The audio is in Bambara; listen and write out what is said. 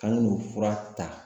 K'an ka n'u fura ta